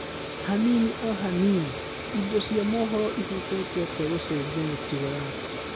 Hanini o hanini: Indo cia mohoro ĩhotete atĩa gucenjia mĩtugo yaku?